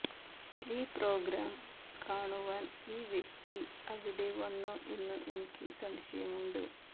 ഈ പ്രോഗ്രാം കാണുവാൻ ഈ വ്യക്തി അവിടെ വന്നോ എന്നു എനിക്ക് സംശയം ഉണ്ട്